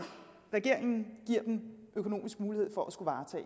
regeringen giver dem økonomisk mulighed for at skulle varetage